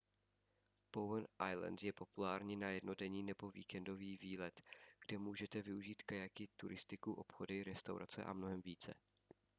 bowen island je populární na jednodenní nebo víkendový výlet kde můžete využít kajaky turistiku obchody restaurace a mnohem více